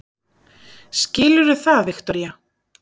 Skilurðu það, Viktoría?